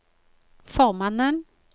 formannen